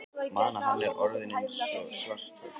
mana að hann er orðinn eins og svarthol.